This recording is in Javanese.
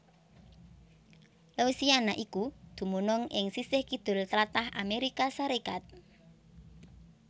Louisiana iku dumunung ing sisih kidul tlatah Amérika Sarékat